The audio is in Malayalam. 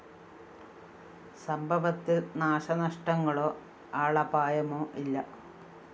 സംഭവത്തില്‍ നാശനഷ്ടങ്ങളോ ആളപായമോ ഇല്ല